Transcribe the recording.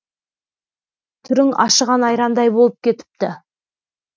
түрің ашыған айрандай болып кетіпті